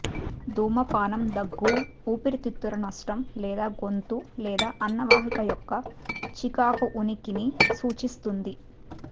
ధూమపానం దగ్గు ఊపిరితిత్తుల నష్టం లేదా గొంతు లేదా అన్నవాహిక యొక్క చికాకు ఉనికిని సూచిస్తుంది